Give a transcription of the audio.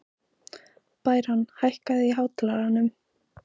Bæron, hækkaðu í hátalaranum.